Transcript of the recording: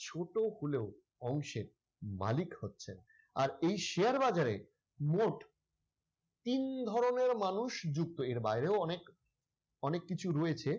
ছোট হলেও অংশের মালিক হচ্ছেন আর এই share বাজারে মোট তিন ধরনের মানুষ যুক্ত এর বাইরেও অনেক অনেক কিছু রয়েছে।